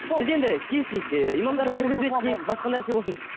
біз енді келісейік ііі имамдарды кіргізбеді дейік басқа нәрсе болсын